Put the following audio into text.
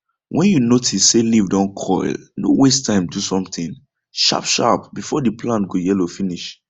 when you notice say leaf don curl no waste time do something sharpsharp before the plant go yellow finish